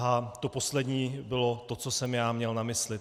A to poslední bylo to, co jsem já měl na mysli.